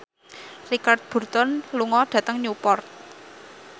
Richard Burton lunga dhateng Newport